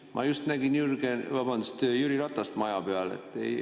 Ma just nägin Jüri Ratast maja peal.